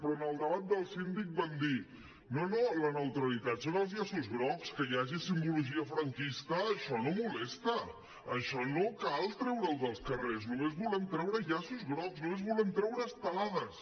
però en el debat del síndic van dir no no la neutralitat són els llaços grocs que hi hagi simbologia franquista això no molesta això no cal treure ho dels carrers només volem treure llaços grocs només volem treure estelades